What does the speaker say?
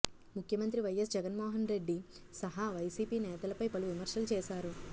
ముఖ్యమంత్రి వైఎస్ జగన్మోహన్ రెడ్డి సహా వైసీపీ నేతలపై పలు విమర్శలు చేశారు